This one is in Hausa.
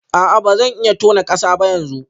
A'a ba zan iya tona kasa ba yanzu